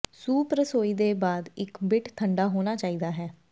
soup ਰਸੋਈ ਦੇ ਬਾਅਦ ਇੱਕ ਬਿੱਟ ਠੰਡਾ ਹੋਣਾ ਚਾਹੀਦਾ ਹੈ